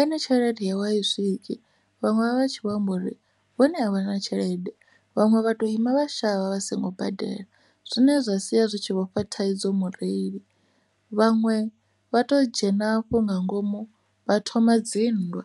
ene tshelede yawe a i swiki vhaṅwe vha vha tshi vho amba uri vhone a vha na tshelede vhaṅwe vha to ima vha shavha vha songo badela, zwine zwa sia zwi tshi vho fha thaidzo mureili vhaṅwe vha to dzhena afho nga ngomu vha thoma dzinndwa.